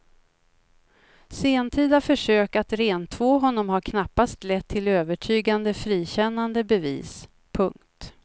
Sentida försök att rentvå honom har knappast lett till övertygande frikännande bevis. punkt